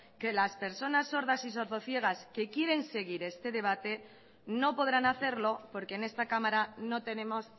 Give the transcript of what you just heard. que las personas sordas y sordo ciegas que quieren seguir este debate no podrán hacerlo porque en esta cámara no tenemos